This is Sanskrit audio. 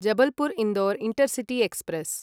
Jabalpur Indore intercity express